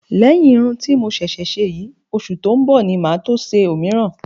Lẹ́yìn irun ti mo ṣẹ̀ṣẹ̀ ṣe yìí, oṣù tó ń bọ̀ ni màá tó ṣe òmíràn